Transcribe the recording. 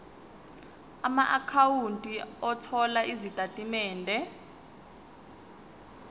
amaakhawunti othola izitatimende